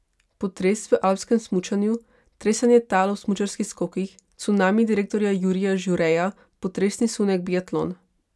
Potres v alpskem smučanju, tresenje tal ob smučarskih skokih, cunami direktorja Jurija Žureja, potresni sunek biatlon...